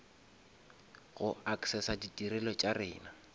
go accessa ditirelo tša rena